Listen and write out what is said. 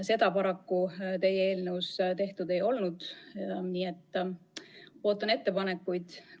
Seda paraku teie eelnõus tehtud ei olnud, nii et ootan ettepanekuid.